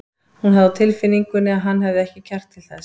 Hún hafði á tilfinningunni að hann hefði ekki kjark til þess.